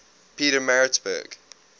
pietermaritzburg